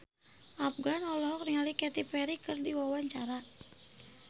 Afgan olohok ningali Katy Perry keur diwawancara